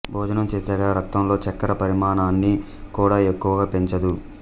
భోజనం చేశాక రక్తంలో చక్కెర పరిమాణాన్ని కూడా ఎక్కువగా పెంచదు